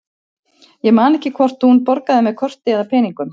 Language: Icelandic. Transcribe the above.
Ég man ekki hvort hún borgaði með korti eða með peningum.